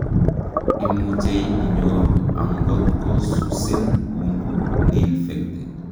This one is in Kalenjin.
imuchei inyoru angot ko susin umbu neinfected